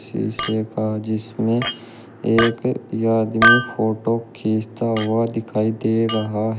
शीशे का जिसमें एक आदमी फोटो खींचता हुआ दिखाई दे रहा--